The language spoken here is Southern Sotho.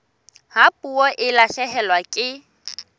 ha puo e lahlehelwa ke